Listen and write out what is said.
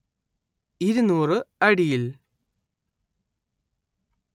ഇരുനൂറ്‌ അടിയിൽ